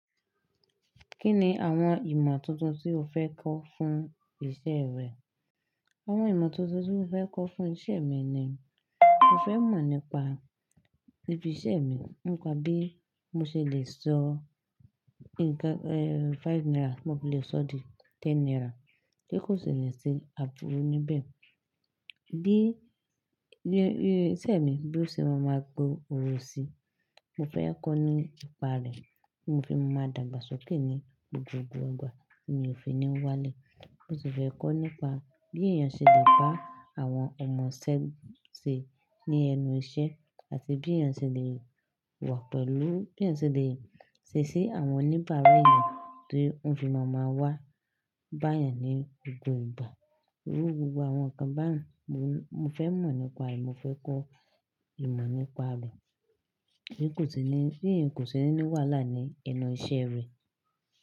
Kí ni àwọn ìmọ̀ tuntun tí o fẹ́ kọ́ fún ìṣe rẹ? Àwọn ìmọ̀ tuntun tí mo fẹ́ kọ́ fún ìṣe mi ni mo fẹ́ mọ̀ nípa ibi iṣẹ́ mi, nípa bí mo ṣe le sọ nnkan, ẹ́, five naira, mo le sọ di ten naira, kí kò sì ní ṣe àtúnru níbẹ̀. Bí, bí iṣẹ́ mi, bí ó ṣe máa ma gbòròsí, mo fẹ́ kọ́ nípa rẹ̀ kí n fi máa dàgbàsókè ní gbogbo ìgbà kí n ò fi ní wàlẹ̀. Mo sì fẹ́ kọ́ nípa bí èèyàn ṣe lè bá àwọn ọmọ isé ṣe ní ẹnu iṣẹ́ àti bí èèyàn ṣe lè wà pẹ̀lú, bí èèyàn ṣe lè ṣe sí àwọn oníbàárà èèyàn tó ń fi máa ma wá bá ènìyàn ní gbogbo ìgbà. Irú gbogbo àwọn nǹkan báyìí mo, mo fẹ́ mọ̀ nípa rẹ̀, mo fẹ́ kọ́ ìmọ̀ nípa rẹ̀ kí kò sì ní, kí n kò sì ní wàhálà ní ẹnu iṣẹ́ rẹ̀.